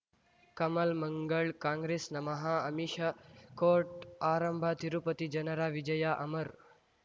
ಕಮಲ್ ಮಂಗಳ್ ಕಾಂಗ್ರೆಸ್ ನಮಃ ಅಮಿಷ ಕೋರ್ಟ್ ಆರಂಭ ತಿರುಪತಿ ಜನರ ವಿಜಯ ಅಮರ್